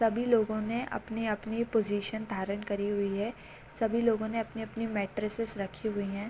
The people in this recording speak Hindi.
सभी लोगो ने अपनी-अपनी पोजीशन धारण करी हुई है सभी लोगो ने अपनी-अपनी मैट्रेसेस रखी हुई है ।